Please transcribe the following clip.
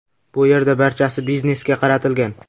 Bu yerda barchasi biznesga qaratilgan.